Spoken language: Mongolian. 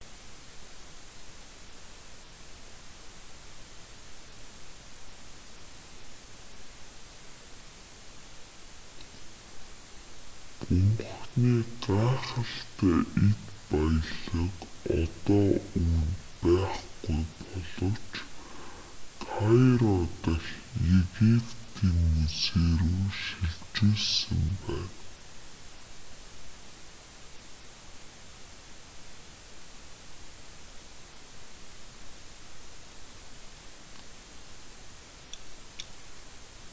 бунханы гайхалтай эд баялаг одоо үүнд байхгүй боловч кайро дахь египетийн музей рүү шилжүүлсэн байна